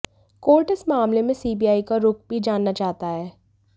court इस मामले में सीबीआई का रुख़ भी जानना चाहता है